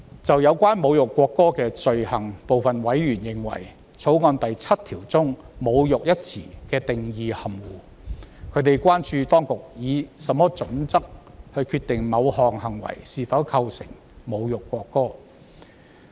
就有關侮辱國歌的罪行，部分委員認為，《條例草案》第7條中"侮辱"一詞的定義含糊，他們關注當局以何準則決定某作為是否構成侮辱國歌。